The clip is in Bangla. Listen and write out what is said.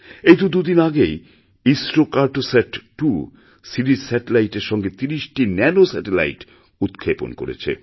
এই তোদুদিন আগেই ইসরো কার্টোস্যাট২ সিরিজ স্যাটেলাইটের সঙ্গে ৩০টি ন্যানোস্যাটেলাইটও উৎক্ষেপণ করেছে